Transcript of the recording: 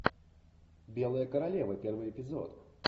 белая королева первый эпизод